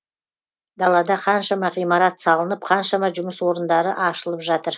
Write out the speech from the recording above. далада қаншама ғимарат салынып қаншама жұмыс орындары ашылып жатыр